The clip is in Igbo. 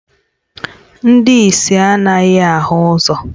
Ndị ìsì anaghị ahụ ụzọ